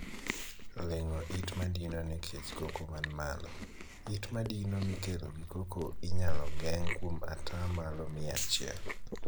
Leng'o it madino nikech koko man malo. It madino mikelo gi koko inyal geng' kuom ataa malo mia achiel.